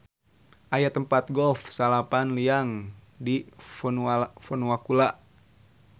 Aya tempat golf salapan liang di Fonuakula.